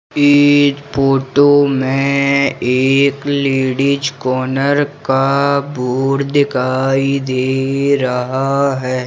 इस फोटो में एक लेडिस कॉर्नर का बोर्ड दिखाई दे रहा है।